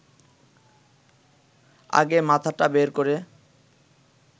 আগে মাথাটা বের করে